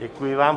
Děkuji vám.